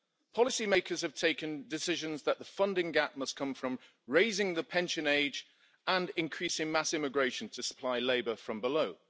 Policy makers have taken decisions that the funding gap must come from raising the pension age and increasing mass immigration to supply labour from below.